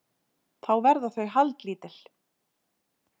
Þá verða þau haldlítil